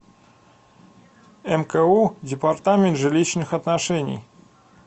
мку департамент жилищных отношений